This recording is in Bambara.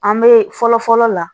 An bɛ fɔlɔ fɔlɔ la